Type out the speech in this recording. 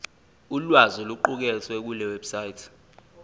ulwazi oluqukethwe kulewebsite